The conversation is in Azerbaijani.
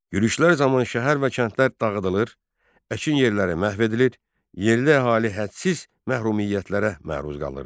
Yürüşlər zamanı şəhər və kəndlər dağıdılır, əkin yerləri məhv edilir, yerli əhali hədsiz məhrumiyyətlərə məruz qalırdı.